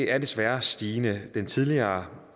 er desværre stigende den tidligere